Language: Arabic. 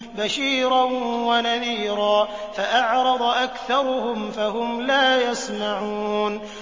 بَشِيرًا وَنَذِيرًا فَأَعْرَضَ أَكْثَرُهُمْ فَهُمْ لَا يَسْمَعُونَ